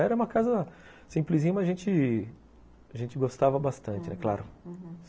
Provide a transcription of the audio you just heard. Era uma casa simplesinha, mas a gente a gente gostava bastante, claro. Uhum.